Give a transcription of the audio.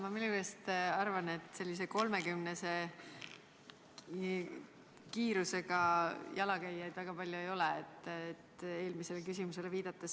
Ma millegipärast arvan, et sellise 30-kilomeetrise kiirusega jalakäijaid väga palju ei ole, eelmisele küsimusele viidates.